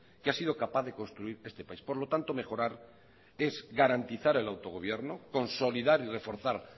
que ha sido capaz de construir este país por lo tanto mejorar es garantizar el autogobierno consolidar y reforzar